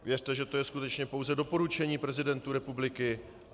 Věřte, že to je skutečně pouze doporučení prezidentu republiky.